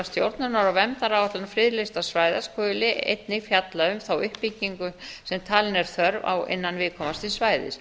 stjórnunar og verndaráætlun friðlýstra svæði skuli einnig fjalla um þá uppbyggingu sem talin er þörf á innan viðkomandi svæðis